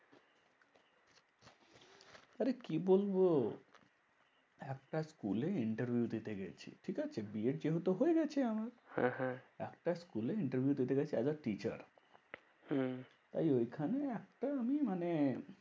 আরে কি বলবো? একটা school এ interview দিতে গেছি। ঠিকাছে? বি এড যেহেতু হয়ে গেছে আমার। হ্যাঁ হ্যাঁ একটা school এ interview দিতে গেছি as a teacher. হম তাই ওইখানে একটা আমি মানে